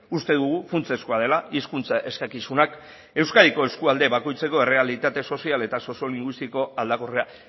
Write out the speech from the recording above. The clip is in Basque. uste dugu funtsezkoa dela hizkuntza eskakizunak euskadiko eskualde bakoitzeko errealitate sozial eta soziolinguistiko aldakorra